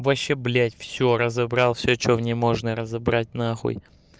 вообще блять всё разобрал всё что в ней можно разобрать на нахуй